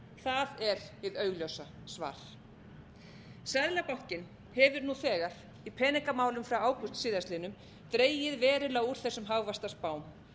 það er hið augljósa svar seðlabankinn hefur nú þegar í peningamálum frá ágúst síðastliðnum dregið verulega úr þessum hagvaxtarspám